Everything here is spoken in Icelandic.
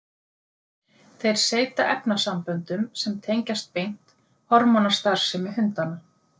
Þeir seyta efnasamböndum sem tengjast beint hormónastarfsemi hundanna.